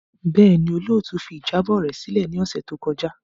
Bẹẹni, olootu fi ijabọ rẹ silẹ ni ọsẹ to kọja.